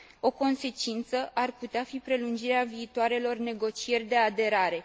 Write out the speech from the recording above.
O consecință ar putea fi prelungirea viitoarelor negocieri de aderare.